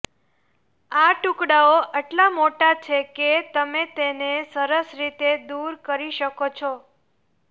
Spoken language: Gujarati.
આ ટુકડાઓ એટલા મોટા છે કે તમે તેને સરસ રીતે દૂર કરી શકો છો